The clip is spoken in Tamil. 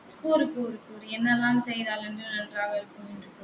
கூறு கூறு கூறு என்னெல்லாம் செய்தால் நன்று நன்றாக இருக்குமென்று